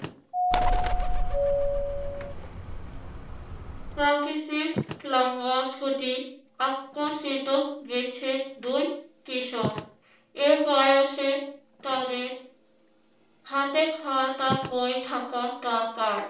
গেছে দুই কিশোর। এই বয়সে তাদের হাতে খাতা-বই থাকা দরকার।